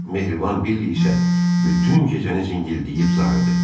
Mehriban Billi isə bütün gecəni zingildəyib zarıdı.